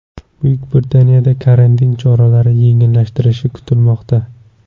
Buyuk Britaniyada karantin choralari yengillashtirilishi kutilmoqda.